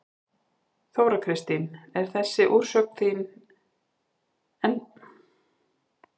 Þóra Kristín: En þessi úrsögn þín er hún að eigin frumkvæði algjörlega?